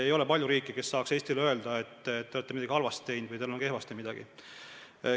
Ei ole palju riike, kes saaks Eestile öelda, et te olete teinud midagi halvasti või teil on midagi kehvasti.